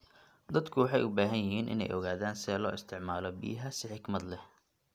Dadku waxay u baahan yihiin inay ogaadaan sida loo isticmaalo biyaha si xikmad leh.